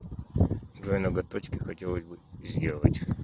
джой ноготочки хотелось бы сделать